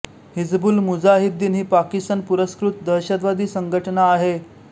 हिजबुल मुजाहिद्दीन ही पाकिस्तान पुरस्कृत दहशतवादी संघटना आहे